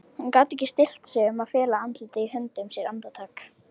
Hann gat ekki stillt sig um að fela andlitið í höndum sér andartak.